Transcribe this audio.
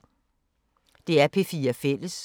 DR P4 Fælles